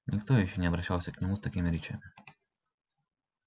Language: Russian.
никто ещё не обращался к нему с такими речами